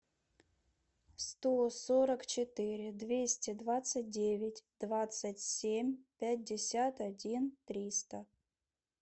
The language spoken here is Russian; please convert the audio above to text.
сто сорок четыре двести двадцать девять двадцать семь пятьдесят один триста